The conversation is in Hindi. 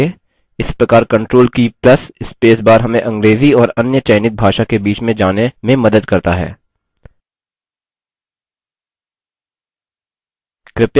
इस प्रकार control की plus space bar हमें अंग्रेजी और अन्य चयनित भाषा के बीच में जाने में मदद करता है